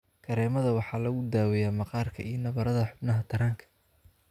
Kareemada waxaa lagu daaweeyaa maqaarka iyo nabarrada xubnaha taranka.